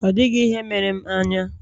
Ọ dịghị ihe mere m anya.